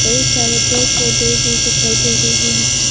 कई सारे पेड़ पौधे भी दिखाई दे रहे हैं।